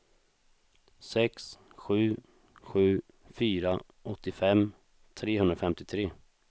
sex sju sju fyra åttiofem trehundrafemtiotre